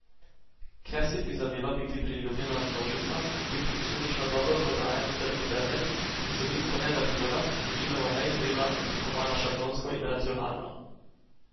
Ker si prizadeva biti priljubljena množicam in biti posledično dobro prodajan tržni predmet, je vsebinsko nezahtevna, večinoma neizvirna, oblikovana šablonsko in racionalno.